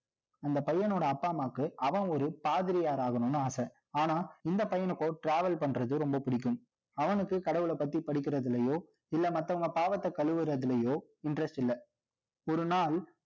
அந்த பையனோட அப்பா, அம்மாவுக்கு, அவன் ஒரு பாதிரியார் ஆகணும்னு ஆசை. ஆனா, இந்த பையனுக்கோ, travel பண்றது, ரொம்ப பிடிக்கும். அவனுக்கு, கடவுளைப் பத்தி, படிக்கிறதுலயோ, இல்ல, மத்தவங்க பாவத்தை, கழுவுறதிலயோ, interest இல்லை. ஒரு நாள்